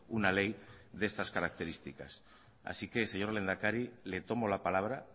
una ley de estas características así que señor lehendakari le tomo la palabra